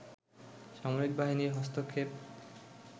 সামরিক বাহিনীর হস্তক্ষেপ